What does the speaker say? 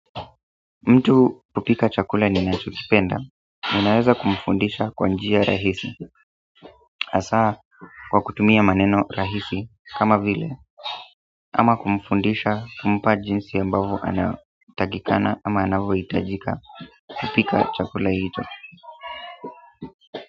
Mtu kupika chakula ninacho kipenda ninaweza kumfundisha kwa njia rahisi hasaa kwa kutumia maneno rahisi kama vile ama kumfundisha kumpa jinsi ambavyo anatakikana ama anavyo hitajika kupika chakula hicho.